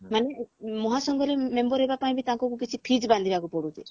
ମାନେ ମହାସଂଘରେ member ହବା ପାଇଁ ବି ତାଙ୍କୁ କିଛି fees ବାନ୍ଧିବାକୁ ପଢୁଛି